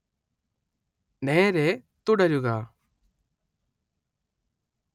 നേരേ തുടരുക